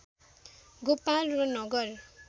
गोपाल र नगर